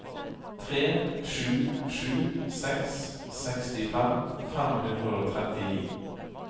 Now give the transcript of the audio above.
tre sju sju seks sekstifem fem hundre og trettini